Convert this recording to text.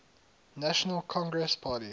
national congress party